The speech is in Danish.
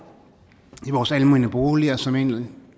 i vores almene boliger som egentlig